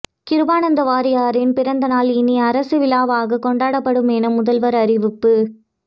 கிருபானந்த வாரியாரின் பிறந்த நாள் இனி அரசு விழாவாக கொண்டாடப்படும் என முதல்வர் அறிவிப்பு